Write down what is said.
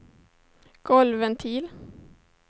golvventil